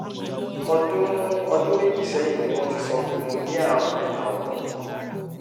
ọdún ọdún méjì sẹ́yìn ni wọ́n ti sọ pé mo ní àrùn mẹ́ta ọ̀tọ̀ọ̀tọ̀